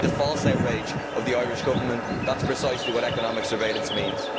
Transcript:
Despite the false outrage of the Irish Government, that is precisely what economic surveillance' means.